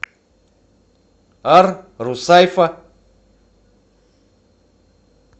ар русайфа